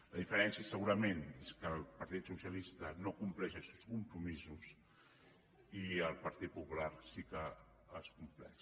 la diferència segurament és que el partit socialista no compleix els seus compromisos i el partit popular sí que els compleix